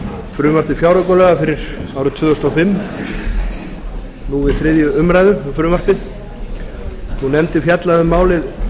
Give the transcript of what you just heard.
til fjáraukalaga fyrir árið tvö þúsund og fimm nú við þriðju umræðu um frumvarpið nefndin fjallaði um málið